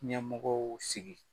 Ɲɛmɔgɔw sigi.